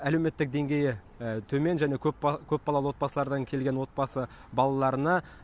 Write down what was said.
әлеуметтік деңгейі төмен және көп балалы отбасылардан келген отбасы балаларына